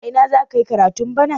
A ina za ka yi karatu bana?